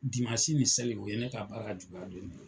ni seli o ye ne k'a baara juguya don de ye.